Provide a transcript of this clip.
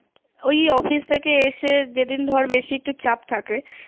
ওই অফিস থেকে এসে যেদিন ধর একটু বেশি চাপ থাকে